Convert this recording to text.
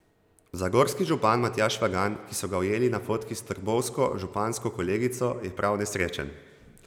Zagorski župan Matjaž Švagan, ki so ga ujeli na fotki s trbovsko župansko kolegico, je prav nesrečen.